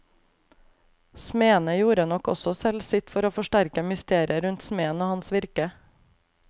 Smedene gjorde nok også selv sitt for å forsterke mysteriet rundt smeden og hans virke.